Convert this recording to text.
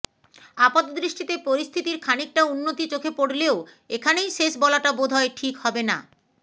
আপাতদৃষ্টিতে পরিস্থিতির খানিকটা উন্নতি চোখে পড়লেও এখানেই শেষ বলাটা বোধ হয় ঠিক হবে না